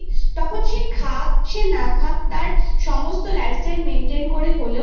তখন সে খাক সে না খাক তার সমস্ত life style maintain করে হলে ও